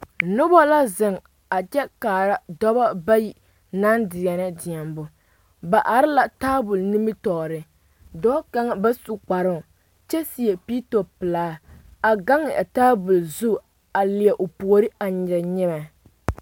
Noba la zeŋ a kyɛ kaara dɔba bayi naŋ zeŋ deɛnɛ deɛmo ba are la tabol nimitɔɔre dɔɔ kaŋa ba su kparoo kyɛ seɛ piito pelaa a gaŋ a tabol zu a leɛ o puori a nyere nyemɛ